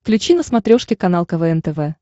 включи на смотрешке канал квн тв